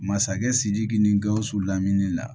Masakɛ sidiki ni gawusu lamini la